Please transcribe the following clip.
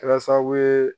Kɛra sababu ye